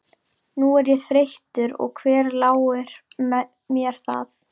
Nú er ég þreyttur og hver láir mér það.